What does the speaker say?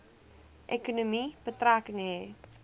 ekonomie betrekking hê